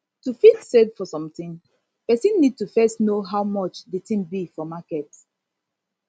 to fit save for something person need to first know how much di thing be for market